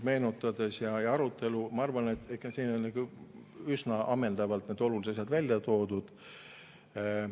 Meenutades protokolli ja arutelu, ma arvan, et siin on ikka üsna ammendavalt need olulised asjad välja toodud.